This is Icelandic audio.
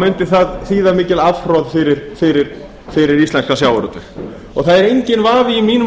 mundi það þýða mikið afhroð fyrir íslenskan sjávarútveg það er enginn vafi í mínum